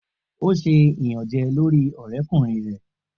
O ṣe iyanjẹ lori ọrẹkunrin rẹ.